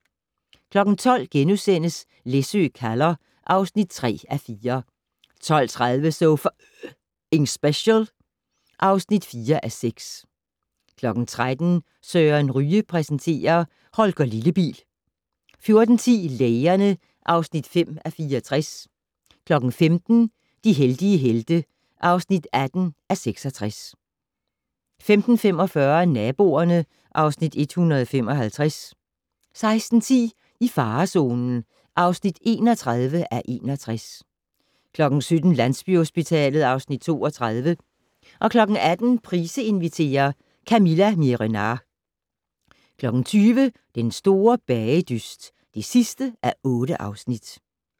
12:00: Læsø kalder (3:4)* 12:30: So F***ing Special (4:6) 13:00: Søren Ryge præsenterer: Holger Lillebil 14:10: Lægerne (5:64) 15:00: De heldige helte (18:66) 15:45: Naboerne (Afs. 155) 16:10: I farezonen (31:61) 17:00: Landsbyhospitalet (Afs. 32) 18:00: Price inviterer - Camilla Miehe-Renard 20:00: Den store bagedyst (8:8)